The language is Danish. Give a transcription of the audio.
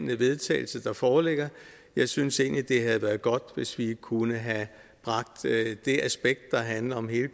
til vedtagelse der foreligger jeg synes egentlig det havde været godt hvis vi kunne have bragt det aspekt der handler om hele